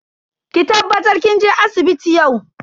Ki tabbatar kin je asibiti yau.